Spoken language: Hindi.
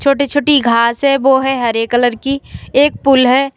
छोटी छोटी घास है वो है हरे कलर की एक पुल है।